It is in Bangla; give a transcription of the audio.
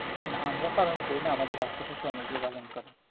না আমরা পালন করি না আমাদের আশেপাশে অনেকেই পালন করে